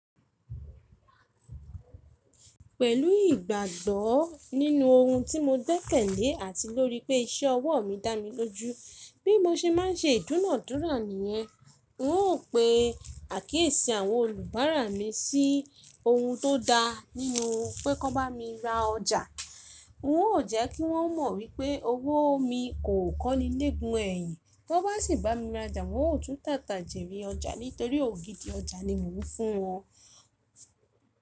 Pẹ̀lú ìgbàgbọ́ nínú ohun tí mo gbekele àti lórí pé iṣẹ́ ọwọ́ mi dá mi lójú, bí mo ṣe má ń ṣe ìdúnàádúrà nìyẹn, n óò pe àkíyèsí àwọn olùbárà mi sí ohun tó da nínú pé kò bá mi ra ọjà. N óò jẹ́ kí wọ́n mọ̀ wípé owó mi kò kọ́ni nigún ẹ̀yìn, ti won bá sì bá mi ra ọjà, wọn ó tún tàtà jèrè ọjà nítorí ògidì ọjà ni mo fún wọn.